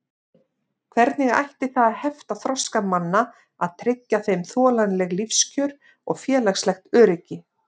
Hvernig ætti það að hefta þroska manna að tryggja þeim þolanleg lífskjör og félagslegt öryggi?